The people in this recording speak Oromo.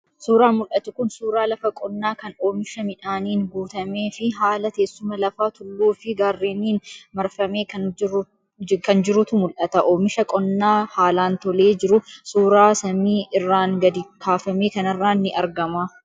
Suuraan mul'atu kun suuraa lafa qonnaa kan oomisha midhaaniin guutamee fi haala teessuma lafaa tulluu fi gaarreeniin marfamee kan jirutu mul'ata. Oomisha qonnaa haalaan tolee jiru, suuraa samii irraan gadi kaafame kanarraan ni argama.